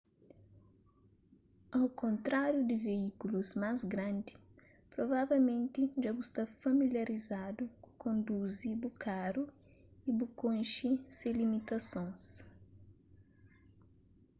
au kontráriu di veíkulus más grandi provavelmenti dja bu sta familiarizadu ku konduzi bu karu y bu konxe se limitasons